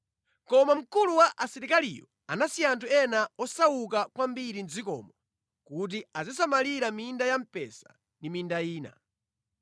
Koma mkulu wa asilikaliyo anasiya anthu ena osauka kwambiri mʼdzikomo kuti azisamalira minda ya mpesa ndi minda ina.